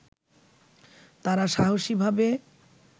তারা সাহসী ভাবে